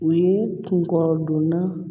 U ye kunkɔrɔdonna